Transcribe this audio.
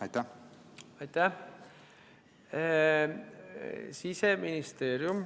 Aitäh!